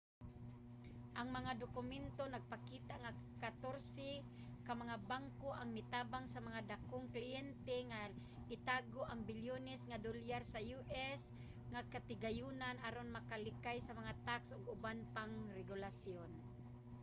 ang mga dokumento nagpakita nga katorse ka mga banko ang mitabang sa mga datong kliyente nga itago ang bilyones nga dolyar sa us nga katigayonan aron makalikay sa mga tax ug uban pang mga regulasyon